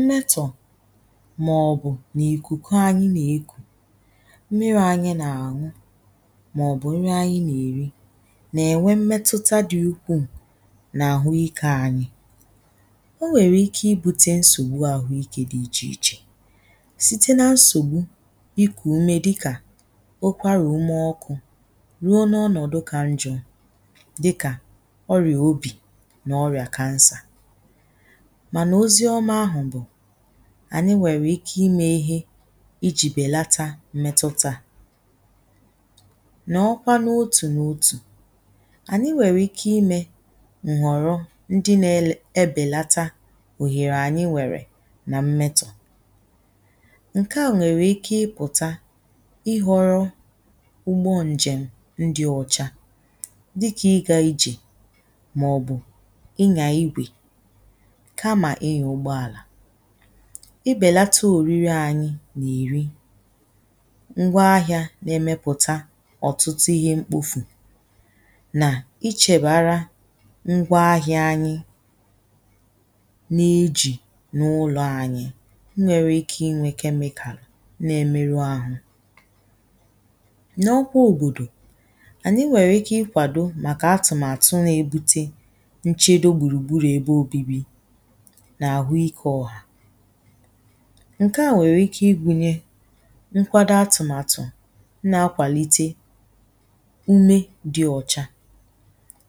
mmetọ màọbụ̀ nà ìkùkù anyi nà-ekù, mmiri anyi nà-ànwụ, màọbụ̀ nri anyi nà-èri nà-ènwe mmetuta dị̇ ukwu nà àhụ ike anyi. Onwèrè ike ibu̇tė nsògbu àhụ ikė dị̇ ichè ichè site nà nsògbu ikù ume dịkà okwarà ume ọkụ̇ ruo n’ọnọ̀dụ kà njọ̀, diká ọrịà obì nà ọrìà kansà, mànà ozi ọmà ahù bù ànyi nwèrè ike imė ihe ijì bèlata mmètùtà nà ọkwa n’otù n’otù ànyi nwèrè ike imė nwọ̀rọ ndi na ebèlata òhèrè ànyi nwèrè nà mmètù ǹkè a nwèrè ike ịpụ̀ta ịhọ̇rọ̇ ugbo ǹjèm ndi ọ̀chá dị kà ịgȧ ijè màọ̀bụ̀ inyà igwè kamà inyà ụgbọàlà, i bèlata òriri anyi nà-èri, ngwa ahìȧ nà-emepùta ọ̀tụtụ ihe mkpofù nà ichèbara ngwa ahìa anyi na-ejì n’ụlọ̇ ànyi nwere ike inwė kemíkàlú na-emeru àhụ. Nà ọkwa òbòdò ànyi nwèrè ike ikwàdo màkà atụ̀màtụ̀ nchedo gbùrùgburù ebe obi̇bi̇ nà àhụ ikė ọhà ǹke à nwèrè ike igunyė nkwado atụ̀màtụ̀ na-akwàlite ume di ọ̀cha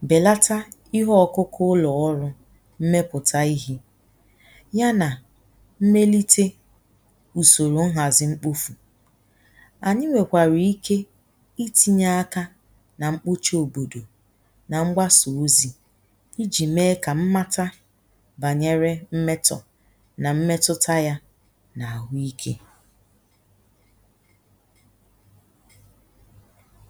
bèlata ihe ọkụkụ ụlọ̀ ọrụ̇ mmepùta ihe ya nà mmelite ùsòrò nhàzi mkpofu̇, ànyi nwèkwàrà ike itinye akȧ nà mkpoche òbòdò na mgbasá ozi ijì meé ka mmatá bànyere mmetọ̀ nà mmetụta ya nà àhụ ikė.